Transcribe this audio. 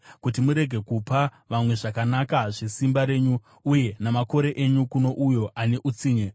kuti murege kupa vamwe zvakanaka zvesimba renyu, uye namakore enyu kuno uyo ane utsinye,